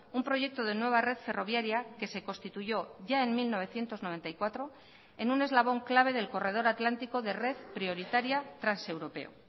un proyecto de nueva red ferroviaria que se constituyó ya en mil novecientos noventa y cuatro en un eslabón clave del corredor atlántico de red prioritaria transeuropeo